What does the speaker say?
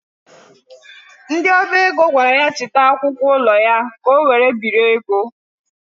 Ndị ọba ego gwara ya chịta akwụkwọ ụlọ ya ka ọ were biri ego.